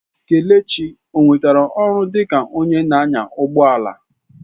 Kelechi onwetala ọrụ dịka onye na-anya ụgbọ ala?